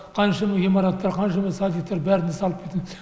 қаншама ғимараттар қаншама садиктер бәрін салып кетеді